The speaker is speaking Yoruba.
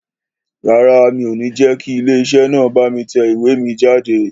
Rárá, mi ò ní jẹ́ kí ilé iṣẹ́ náà bá mi tẹ ìwé mi jáde